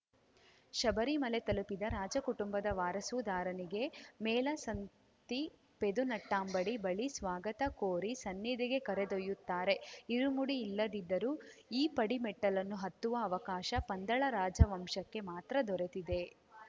ಶಬರಿಮಲೆ ತಲುಪಿದ ರಾಜ ಕುಟುಂಬದ ವಾರಸುದಾರನಿಗೆ ಮೇಲಸಂತಿ ಪದುನೆಟ್ಟಾಂಬಡಿ ಬಳಿ ಸ್ವಾಗತ ಕೋರಿ ಸನ್ನಿಧಿಗೆ ಕರೆದೊಯ್ಯುತ್ತಾರೆ ಇರುಮುಡಿ ಇಲ್ಲದಿದ್ದರೂ ಈ ಪಡಿಮೆಟ್ಟಿಲನ್ನು ಹತ್ತುವ ಅವಕಾಶ ಪಂದಳ ರಾಜವಂಶಕ್ಕೆ ಮಾತ್ರ ದೊರೆತಿದೆ